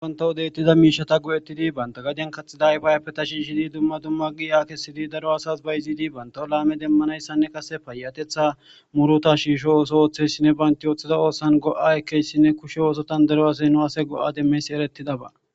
Wanta hodeytida miishata gu'ettidi banta gadien katxida yfayappe tashiishidi dumma dumma gi akesidi daro asas ba ziidi bantao laame demmanayssanne qase payatetha muruta shiisho ooso ooththessinne baynti ooththida oosan go'a ekeyssinne kushe oosotan daro asey nuase go'a demmeys erettidaba.